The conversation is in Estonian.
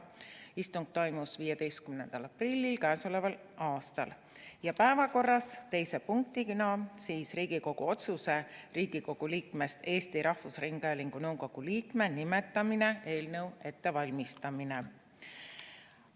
Istung toimus k.a 15. aprillil ja teise punktina oli päevakorras Riigikogu otsuse "Riigikogu liikmest Eesti Rahvusringhäälingu nõukogu liikme nimetamine" eelnõu ettevalmistamine.